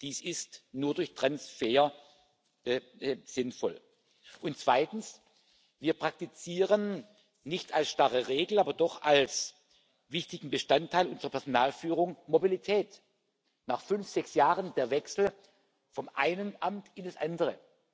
Dies ist nur durch Transfer sinnvoll. Und zweitens Wir praktizieren nicht als starre Regel, aber doch als wichtigen Bestandteil unserer Personalführung Mobilität nach fünf, sechs Jahren der Wechsel von einem Amt in das andere.